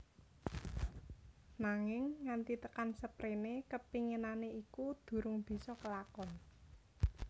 Nanging nganti tekan seprene kepinginane iku durung bisa kelakon